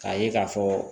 K'a ye k'a fɔ